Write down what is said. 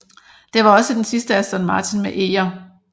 Det var også den sidste Aston Martin med eger